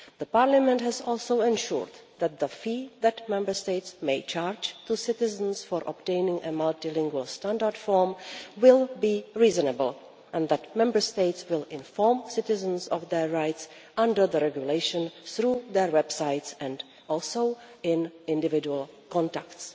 Parliament has also ensured that the fee that Member States may charge to citizens for obtaining a multilingual standard form will be reasonable, and that Member States will inform citizens of their rights under the regulation through their websites and also in individual contacts.